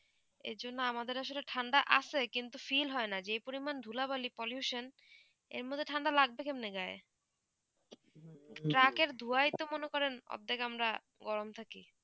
এর জন্যে আমাদের আসলে ঠান্ডা আছে কিন্তু feel হয়ে না যে পরিমাণ ধুলা বালি pollution এর মদদে ঠান্ডা ঠান্ডা লাগতে কেমন গায়ে ট্রাকে ধুয়া তাই মনে করেন অধেক আমরান গরম থাকি